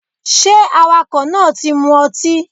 ṣe awakọ náà tí mó ọtí?